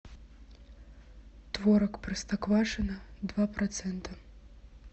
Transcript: творог простоквашино два процента